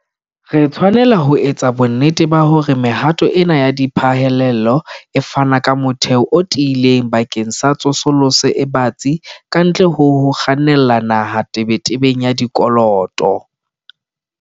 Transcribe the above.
Re tshwanela ho etsa bonnete ba hore mehato ena ya diphallelo e fana ka motheo o tiileng bakeng sa tsosoloso e batsi kantle ho ho kgannela naha tebetebeng ya dikoloto.